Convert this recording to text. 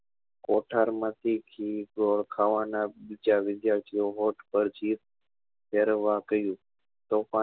કોઠાર માંથી ઘી ગોળ ખાવા ના બીજા વિદ્યાર્થીઓ હોઠ પર ચીર પેરવા કર્યું